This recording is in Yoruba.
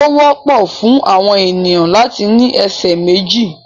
Ó wọ́pọ̀ fún àwọn ènìyàn láti ní ẹsẹ̀ méjì.